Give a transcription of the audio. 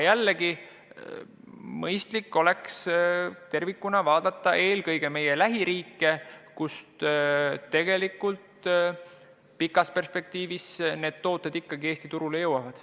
Aga mõistlik oleks tervikuna vaadata eelkõige meie lähiriike, kust ka pikas perspektiivis need tooted Eesti turule jõuavad.